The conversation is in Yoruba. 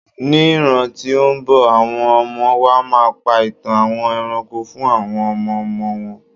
ní ràn ti o nbọ, awọn ọmọ wa ma pa itan àwọn eranko fún àwọn ọmọ ọmọ wọn